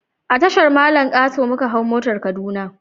A Tashar mallan kato muka hau motar kaduna